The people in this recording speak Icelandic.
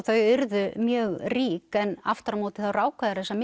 þau urðu mjög rík en aftur á móti þá ráku þau þessar